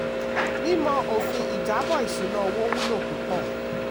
mímọ òfin ìjábọ̀ ìṣúná owó wúlò púpọ̀.